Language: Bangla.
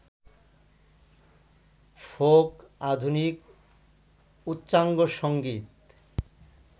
ফোক, আধুনিক, উচ্চাঙ্গসংগীত,